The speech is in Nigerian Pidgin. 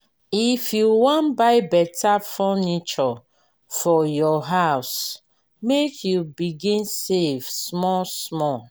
if you wan buy beta furniture for your house make you begin save small-small.